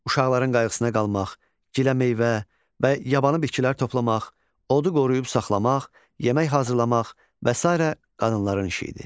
Uşaqların qayğısına qalmaq, giləmeyvə və yabanı bitkilər toplamaq, odu qoruyub saxlamaq, yemək hazırlamaq və sairə qadınların işi idi.